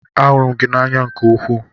Ahụrụ m gị n'anya nke ukwuu.